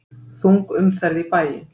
Þung umferð í bæinn